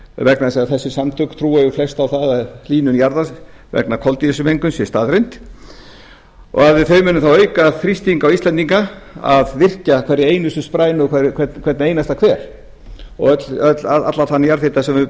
vegna þess að þessi samtök trúa flest á hlýnun jarðar vegna þess að kolsýringsmengun sé staðreynd og þau munu þá auka þrýsting á íslendinga að virkja herra einustu sprænu og hvern einasta hver og allan þann jarðhita sem við